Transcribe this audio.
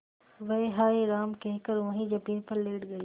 वह हाय राम कहकर वहीं जमीन पर लेट गई